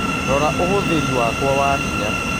rora uhuthiri wakwa wa hinya